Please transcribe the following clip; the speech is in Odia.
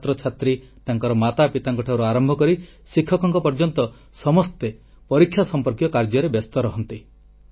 ଛାତ୍ରଛାତ୍ରୀ ତାଙ୍କର ମାତାପିତାଙ୍କ ଠାରୁ ଆରମ୍ଭ କରି ଶିକ୍ଷକଙ୍କ ପର୍ଯ୍ୟନ୍ତ ସମସ୍ତେ ପରୀକ୍ଷା ସମ୍ପର୍କୀୟ କାର୍ଯ୍ୟରେ ବ୍ୟସ୍ତ ରହନ୍ତି